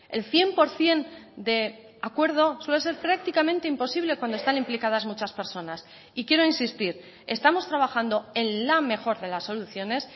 el cien por ciento de acuerdo suele ser prácticamente imposible cuando están implicadas muchas personas y quiero insistir estamos trabajando en la mejor de las soluciones